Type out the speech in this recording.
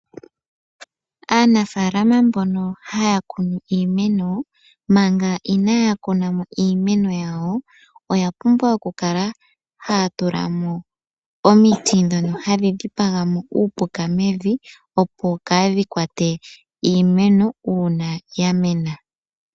Aanafalama mbono haya kunu iimeno manga inaya kunamo iimeno yawo oya pumbwa okukala haya tulamo omiti ndhono hadhi dhipaga mo uupuka mevi opo kadhi kwate iimeno uuna ya mena.